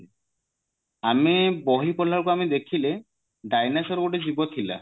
ଆମେ ବହି ପଢିଲା ବେଳକୁ ଆମେ ଦେଖିଲେ dinosaur ଗୋଟେ ଜୀବ ଥିଲା